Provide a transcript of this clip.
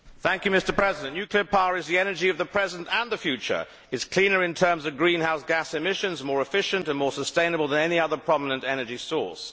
Mr President, nuclear power is the energy of the present and the future it is cleaner in terms of greenhouse gas emission, and more efficient and more sustainable than any other prominent energy source.